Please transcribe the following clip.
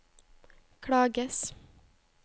klages